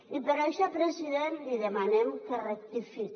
i per això president li demanem que rectifique